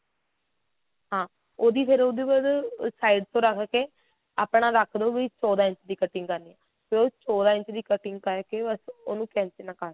ਹਾਂ ਉਹਦੀ ਫਿਰ ਉਹਦੇ ਬਾਅਦ side ਤੋਂ ਰੱਖ ਕੇ